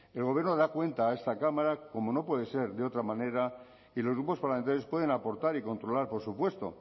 el gobierno da cuenta a esta cámara como no puede ser de otra manera y los grupos parlamentarios pueden aportar y controlar por supuesto